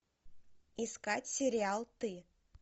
искать сериал ты